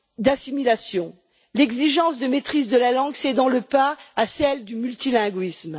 d'assimilation, l'exigence de maîtrise de la langue cédant le pas à celle du multilinguisme.